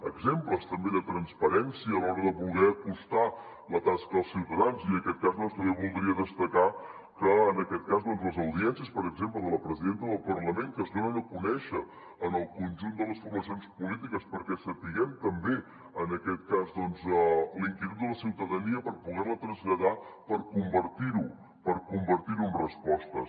exemples també de transparència a l’hora de voler acostar la tasca als ciutadans i en aquest cas també voldria destacar les audiències per exemple de la presidenta del parlament que es donen a conèixer en el conjunt de les formacions polítiques perquè sapiguem també en aquest cas la inquietud de la ciutadania per poder la traslladar per convertir ho en respostes